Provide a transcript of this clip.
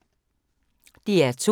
DR2